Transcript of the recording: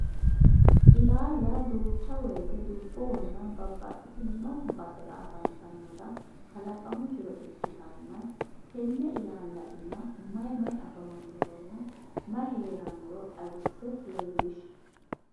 illaalla duucha woyte dubbohonna babbaxitinno basera afantannota kalaqamu jiro ikkitanna tenne illalla iima may may afamanoronna may heeranoro xawise leellish?